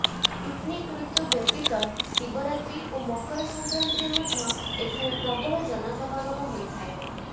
picnic ଋତୁ ବ୍ୟତୀତ ଶିବରାତ୍ରୀ ଓ ମକର ସଂକ୍ରାନ୍ତିରେ ମଧ୍ୟ ଏଠାରେ ପ୍ରବଳ ଜନସମାଗମ ହୋଇଥାଏ